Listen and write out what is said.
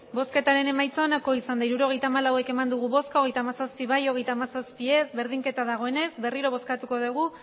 hirurogeita hamalau eman dugu bozka hogeita hamazazpi bai hogeita hamazazpi ez bat abstentzio berdinketa dagoenez berriro bozkatuko dugu